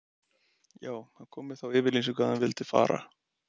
Já, hann kom með þá yfirlýsingu að hann vildi fara.